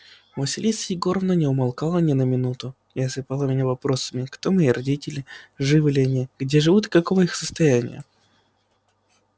василиса егоровна не умолкала ни на минуту и осыпала меня вопросами кто мои родители живы ли они где живут и каково их состояние